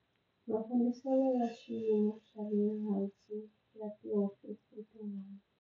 Mafambiselo ya xiyimo xa le hansi ya tihofisi tin'wana.